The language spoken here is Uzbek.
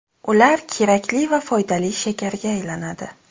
Ular kerakli va foydali shakarga aylanadi.